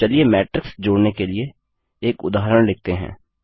अब चलिए मैट्रिक्स जोड़ने के लिए एक उदाहरण लिखते हैं